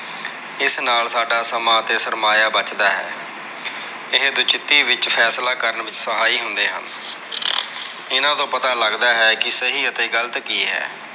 ਇਸ ਨਾਲ ਸਾਡਾ ਸਮਾਂ ਅਤੇ ਸਰਮਾਇਆ ਬੱਚਦਾ ਹੈ। ਇਹੈ ਵਚੀਤੀ ਵਿੱਚ ਫੈਸਲਾ ਕਰਨ ਵਿੱਚ ਸਹਾਈ ਹੁੰਦੇ ਹਨ। ਇਹਨਾਂ ਤੋਂ ਪਤਾ ਲੱਗਦਾ ਹੈ ਕਿ ਸਹੀ ਅਤੇ ਗ਼ਲਤ ਕੀ ਹੈ।